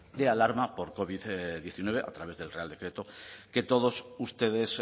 de alarma por covid diecinueve a través del real decreto que todos ustedes